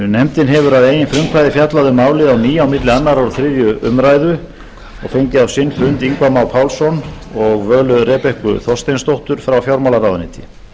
nefndin hefur að eigin frumkvæði fjallað um málið á ný milli annars og þriðju umræðu og fengið á sinn fund ingva má pálsson og völu rebekku þorsteinsdóttur frá fjármálaráðuneyti